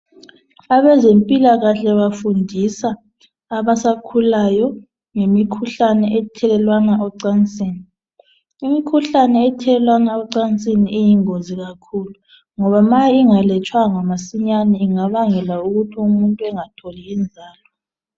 abezempilakahle bafundisa abasakhulayo ngemikhuhlane ethelelwana emacansini imikhuhlane ethelelwana emacansini iyingozi kakhulu ngoba ma ingalatshwanga masinyane ingabangela ukuthi umuntu engatholi inzalo